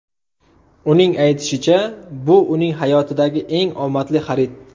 Uning aytishicha, bu uning hayotidagi eng omadli xarid.